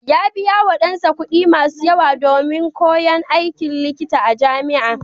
Ya biyawa ɗansa kuɗi masu yawa domin koyon aikin likita a jami'a.